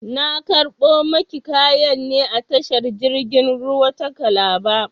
Na karɓo maki kayan ne a tashar jirgin ruwa ta kalaba